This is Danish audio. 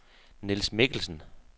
Nils Mikkelsen